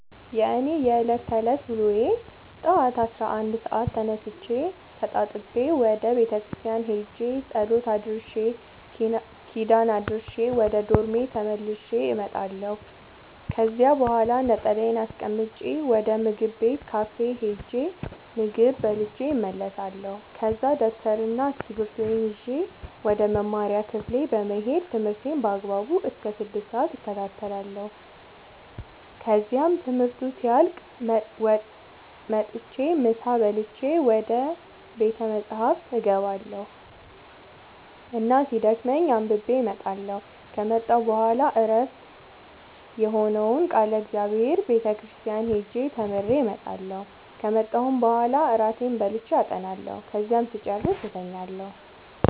የእኔ የዕለት ተዕለት ውሎዬ ጠዋት አስራ አንድ ሰአት ተነስቼ ተጣጥቤ ወደ ቤተክርስቲያን ሄጄ ጸሎት አድርሼ ኪዳን አድርሼ ወደ ዶርሜ ተመልሼ እመጣለሁ ከዚያ በኋላ ነጠላዬን አስቀምጬ ወደ ምግብ ቤት ካፌ ሄጄ ምግብ በልቼ እመለሳለሁ ከዛ ደብተርና እስኪብርቶዬን ይዤ ወደ መማሪያ ክፍሌ በመሄድ ትምህርቴን በአግባቡ እስከ ስድስት ሰአት እከታተላለሁ ከዚያም ትምህርቱ ሲያልቅ መጥቼ ምሳ በልቼ ወደ ቤተ መፅሀፍ እገባ እና እስኪደክመኝ አንብቤ እመጣለሁ ከመጣሁ በኋላ ዕረፍት የሆነውን ቃለ እግዚአብሔር ቤተ ክርስቲያን ሄጄ ተምሬ እመጣለሁ ከመጣሁም በኋላ እራቴን በልቼ አጠናለሁ ከዚያም ስጨርስ እተኛለሁ።